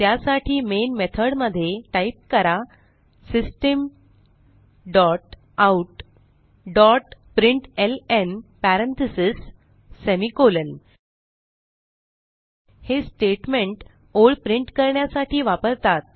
त्यासाठी main method मध्ये type करा system dot out dot println parentheses semi colon हे स्टेटमेंट ओळ प्रिंट करण्यासाठी वापरतात